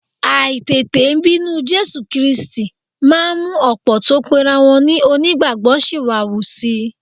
Àìtètè bínú Jésù Kírísítì máa ń mú ọ̀pọ̀ tó pera wọn ní onígbàgbọ́ ṣìwàhù si